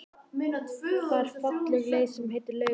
Það er falleg leið sem heitir Laugavegur.